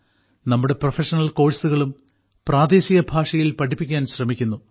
നമ്മുടെ പ്രൊഫഷണൽ കോഴ്സുകളും പ്രാദേശിക ഭാഷയിൽ പഠിപ്പിക്കാൻ ശ്രമിക്കുന്നു